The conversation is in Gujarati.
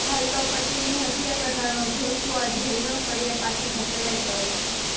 હાલ તો પત્નીની હત્યા કરનારો જોશુઆ જેલના સળિયા પાછળ ધકેલાઈ ગયો છે